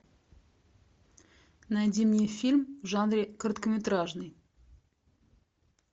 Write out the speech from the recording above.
найди мне фильм в жанре короткометражный